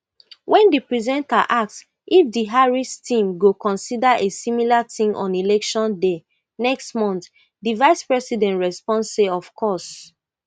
when di presenter ask if di harris team go consider a similar thing on election day next month di vicepresident respond say of course